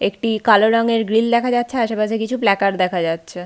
একটি কালো রঙের গ্রিল দেখা যাচ্ছে আশেপাশে কিছু প্লাকার দেখা যাচ্ছে।